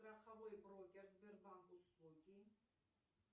страховой брокер сбербанк услуги